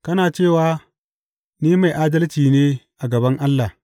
Kana cewa, Ni mai adalci ne a gaban Allah.’